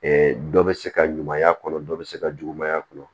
dɔ bɛ se ka ɲumanya kɔnɔ dɔ bɛ se ka juguman a kɔnɔ